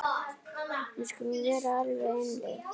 Við skulum vera alveg einlæg.